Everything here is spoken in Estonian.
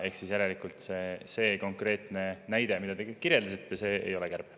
Ehk siis järelikult see konkreetne näide, mida te kirjeldasite, ei ole kärbe.